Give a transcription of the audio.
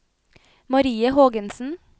Marie Hågensen